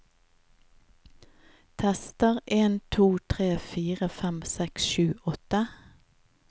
Tester en to tre fire fem seks sju åtte